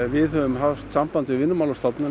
við höfum haft samband við Vinnumálastofnun